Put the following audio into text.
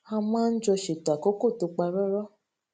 a máa ń jọ ṣètò àkókò tó parọrọ